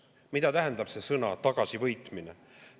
Mida tähendab sõna "tagasivõitmine"?